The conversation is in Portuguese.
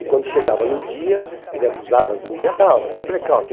E quando chegava no dia, ele avisava, dizendo, dia tal, vai ter blackout.